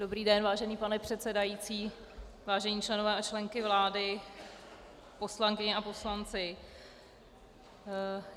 Dobrý den, vážený pane předsedající, vážení členové a členky vlády, poslankyně a poslanci.